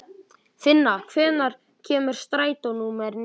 Finna, hvenær kemur strætó númer níu?